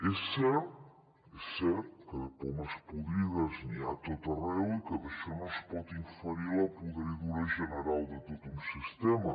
és cert és cert que de pomes podrides n’hi ha a tot arreu i que d’això no es pot inferir la podridura general de tot un sistema